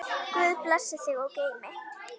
Guð blessi þig og geymi.